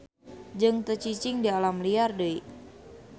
Jeung teu cicing di alam liar deui.